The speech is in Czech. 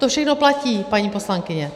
To všechno platí, paní poslankyně.